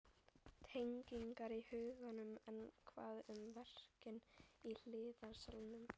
Tengingarnar í huganum En hvað um verkin í hliðarsalnum?